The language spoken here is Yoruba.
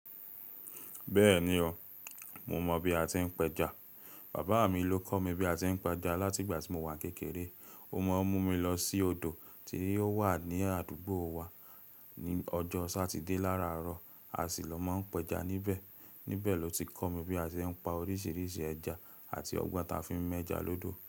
Bẹ́ẹ̀ni o, mo mọ bi a ti ń pẹja. Bàbá mi ló kọ́ mi bí a ti ń pa ẹja láti ìgbà tí mo wà kékeré. Ó máa ń mú mi lọ sí odò tí o wà ní àdúgbò wa ní ọjọ́ Satide láràárọ̀, a sì lọ má ń pẹja níbẹ̀. Níbẹ̀ ló ti kọ́ mi bí a ti ń pa oríṣiríṣi ẹja àti ọgbọ́n ta fi ń mẹ́ja lọ́dọ̀.